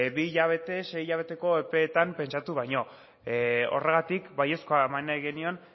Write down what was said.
bi hilabete sei hilabeteko epean pentsatu baino horregatik baiezkoa eman nahi genion